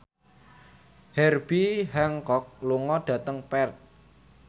Herbie Hancock lunga dhateng Perth